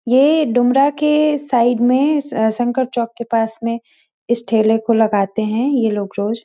ये डुमरा के साइड में संकर चौक पास में इस ठेले को लगते है ये लोग रोज।